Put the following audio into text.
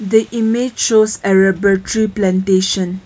The image shows a rubber tree plantation.